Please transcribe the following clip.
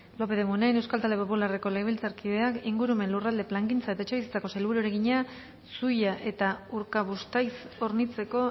lópez de munain euskal talde popularreko legebiltzarkideak ingurumen lurralde plangintza eta etxebizitzako sailburuari egina zuia eta urkabustaiz hornitzeko